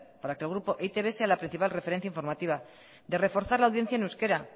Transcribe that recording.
para que el grupo e i te be sea la principal referencia alternativa de reforzar la audiencia en euskara